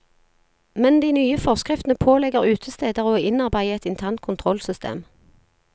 Men de nye forskriftene pålegger utesteder å innarbeide et internt kontrollsystem.